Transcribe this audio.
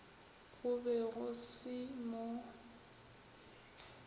go be go se mo